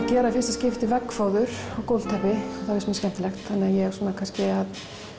gera í fyrsta skipti veggfóður og gólfteppi og það finnst mér skemmtilegt þannig að ég er svona kannski að